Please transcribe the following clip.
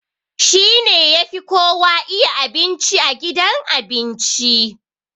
He is the best chef in the restaurant